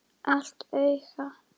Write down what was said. Illt auga.